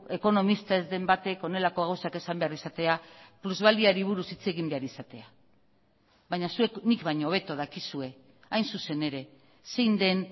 ekonomista ez den batek honelako gauzak esan behar izatea plusbaliari buruz hitz egin behar izatea baina zuek nik baino hobeto dakizue hain zuzen ere zein den